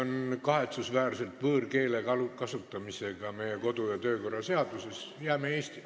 Jah, kahetsusväärselt oli tegemist võõrkeele kasutamisega, mida ei ole meie kodu- ja töökorra seaduses ette nähtud.